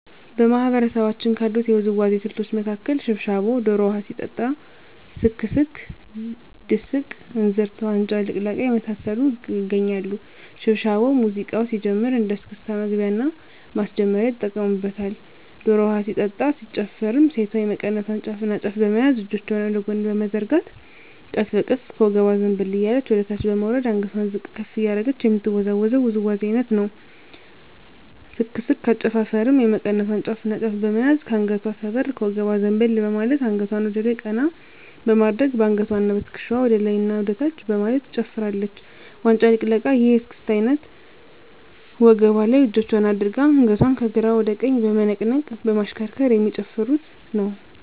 በማህበረሰባችን ካሉት የውዝዋዜ ስልቶች መካከል ሽብሻቦ ዶሮ ውሀ ሲጠጣ ስክስክ ድስቅ እንዝርት ዋንጫ ልቅለቃ የመሳሰሉት ይገኛሉ። ሽብሻቦ ሙዚቃው ሲጀምር እንደ እስክስታ መግቢያና ማስጀመሪያ ይጠቀሙበታል። ዶሮ ውሀ ሲጠጣ ሲጨፈርም ሴቷ የመቀነቷን ጫፍና ጫፍ በመያዝ እጆቿን ወደ ጎን በመዘርጋት ቀስ በቀስ ከወገቧ ዘንበል እያለች ወደታች በመውረድ አንገቷን ዝቅ ከፍ እያደረገች የምትወዛወዘው ውዝዋዜ አይነት ነው። ስክስክ አጨፋፈሩም የመቀነቷን ጫፍና ጫፍ በመያዝ ከአንገቷ ሰበር ከወገቧ ዘንበል በማለት አንገቷን ወደላይ ቀና በማድረግ በአንገትዋና በትክሻዋ ወደላይና ወደታች በማለት ትጨፍራለች። ዋንጫ ልቅለቃ ይህ የእስክስታ አይነት ወገቧ ላይ እጆቿን አድርጋ አንገቷን ከግራ ወደ ቀኝ በመነቅነቅ በማሽከርከር የሚጨፍሩት ነው።